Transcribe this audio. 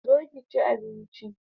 Zo ki chi abinchi